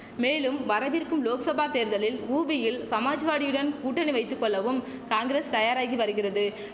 மேலும் வரவிருக்கும் லோக்சபா தேர்தலில் உபியில் சமாஜ்வாடியுடன் கூட்டணி வைத்துகொள்ளவும் காங்கரஸ் தயாராகி வருகிறது